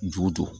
Ju jɔ